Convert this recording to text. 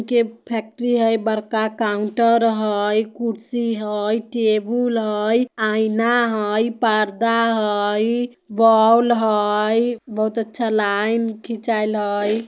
के फैक्ट्री हई बड़का काउन्टर हई कुर्सी हई टेबुल हई आईना हई परदा हई बौल हई बहुत अच्छा लाइन खिंचाइल हई।